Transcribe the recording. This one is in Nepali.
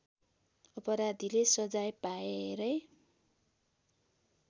अपराधीले सजाय पाएरै